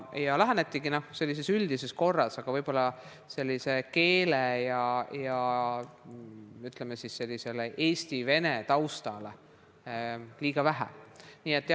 Siis lähenetigi sellises üldises korras, aga võib-olla pöörati keele ja, ütleme, eesti-vene taustale liiga vähe tähelepanu.